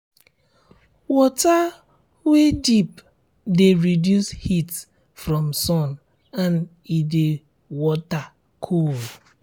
water weey deep de reduce heat from sun and e de water cool